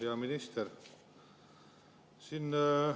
Hea minister!